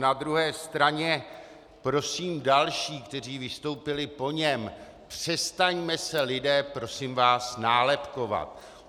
Na druhé straně prosím další, kteří vystoupili po něm: Přestaňme se, lidé, prosím vás, nálepkovat.